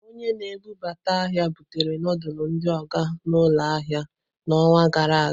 Onye na-ebubata ahia butere ndulu ndi Oga n'ụlọ ahịa n'ọnwa gara aga.